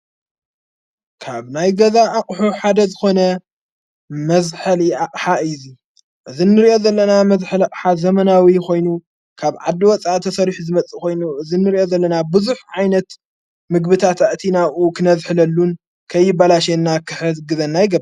ካብ ናይ ገዛ ኣቕሑ ሓደ ዝኾነ መዘኀሊ ሓ እዙይ እዝ ንርእኦ ዘለና መዘኅልቕሓ ዘመናዊ ኾይኑ ካብ ዓዲ ወፃእ ተሠሪሑ ዝመጽእ ኾይኑ እዝ እንርእኦ ዘለና ብዙኅ ዓይነት ምግብታ ታእቲ ናኡ ኽነዘኅለሉን ከይባላሸና ኽሕግዘና ይገብር።